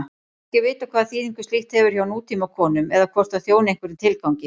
Ekki er vitað hvaða þýðingu slíkt hefur hjá nútímakonum eða hvort það þjóni einhverjum tilgangi.